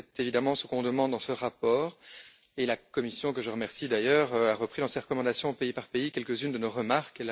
C'est évidemment ce qu'on demande dans ce rapport et la Commission que je remercie, d'ailleurs a repris dans ses recommandations pays par pays quelques unes de nos remarques.